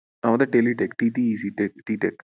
আমাদের TeletechTTECTechTTech